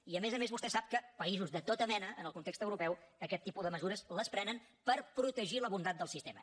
i a més a més vostè sap que països de tota mena en el context europeu aquest tipus de mesures les prenen per protegir la bondat del sistema